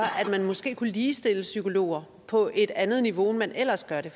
at man måske skulle ligestille psykologer på et andet niveau end man ellers gøre det